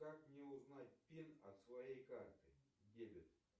как мне узнать пин от своей карты дебет